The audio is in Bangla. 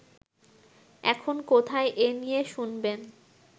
এখন কোথায়-এ নিয়ে শুনবেন